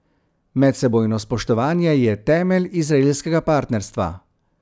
Medsebojno spoštovanje je temelj izraelskega partnerstva.